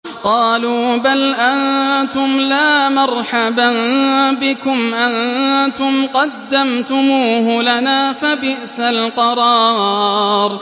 قَالُوا بَلْ أَنتُمْ لَا مَرْحَبًا بِكُمْ ۖ أَنتُمْ قَدَّمْتُمُوهُ لَنَا ۖ فَبِئْسَ الْقَرَارُ